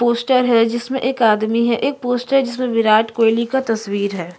Poster है जिसमें एक आदमी है एक पोस्टर है जिसमें विराट कोहली का तस्वीर हैं।